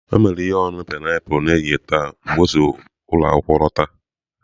O mere ihe ọṅụṅụ painiapulu n'ehihie taa mgbe o si ụlọ akwụkwọ lọta.